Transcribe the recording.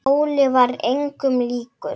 Óli var engum líkur.